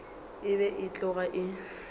e be e tloga e